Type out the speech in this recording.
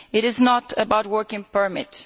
It is not about a work permit.